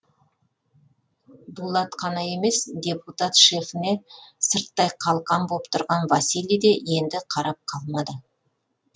дулат қана емес депутат шефіне сырттай қалқан боп тұрған василий де енді қарап қалмады